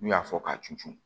N'u y'a fɔ k'a cun cun